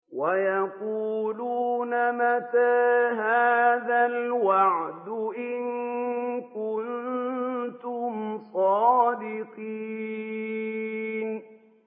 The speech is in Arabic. وَيَقُولُونَ مَتَىٰ هَٰذَا الْوَعْدُ إِن كُنتُمْ صَادِقِينَ